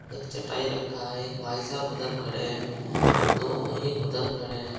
एक चटाई रखा है एक भाई साहब उधर खड़े हैं दो एक उधर खड़े हैं।